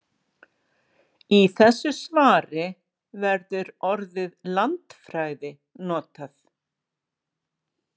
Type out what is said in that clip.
Í þessu svari verður orðið landfræði notað.